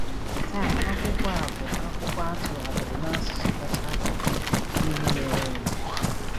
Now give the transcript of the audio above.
Taa, akwụkwọ a bụ akwụkwọ a tụgharịrị n’asụsụ kacha n’akụkọ ihe mere eme.